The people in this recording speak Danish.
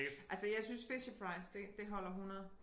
Altså jeg synes Fisher-Price det det holder 100